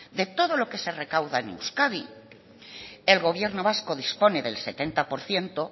de todo lo que se recauda en euskadi el gobierno vasco dispone del setenta por ciento